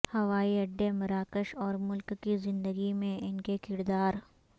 ہوائی اڈے مراکش اور ملک کی زندگی میں ان کے کردار